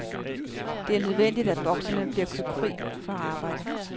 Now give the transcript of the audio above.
Det er nødvendigt, at bokserne bliver købt fri fra arbejde.